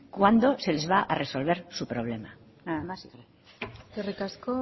cuándo se les va resolver su problema nada más y gracias eskerrik asko